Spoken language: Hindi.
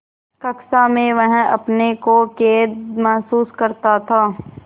कक्षा में वह अपने को कैद महसूस करता था